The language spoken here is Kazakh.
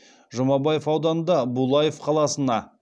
жұмабаев ауданында булаев қаласына